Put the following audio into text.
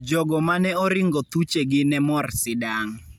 Jogo ma ne oringo thuchegi ne mor sidang'.